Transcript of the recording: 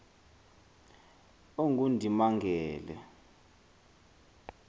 ongundimangele